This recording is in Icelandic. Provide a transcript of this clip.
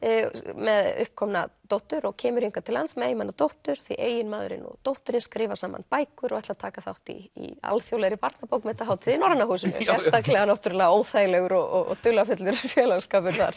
með uppkomna dóttur og kemur hingað til lands með eiginmanni og dóttur því eiginmaðurinn og dóttirin skrifa saman bækur og ætla að taka þátt í alþjóðlegri barnabókmenntahátíð í Norræna húsinu sérstaklega náttúrulega óþægilegur og dularfullur félagsskapur þar